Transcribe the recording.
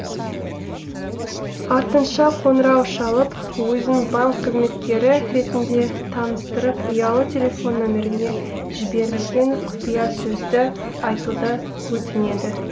артынша қоңырау шалып өзін банк қызметкері ретінде таныстырып ұялы телефон нөміріне жіберілген құпиясөзді айтуды өтінеді